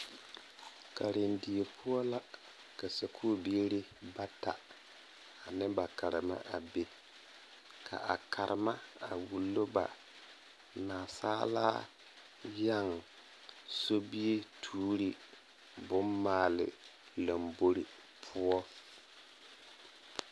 Karendie poɔ la ka sakubiiri bata ane ba Karema a be ka a Karema a wulo ba nansaala yɛŋ sobituuri bommaale lombori poɔ.